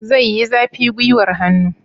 Zai yi zafi gwiwar hannu?